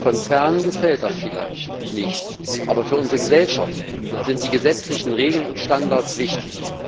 Konzernen gefällt das vielleicht nicht, aber für unsere Gesellschaften sind die gesetzlichen Regeln und Standards wichtig.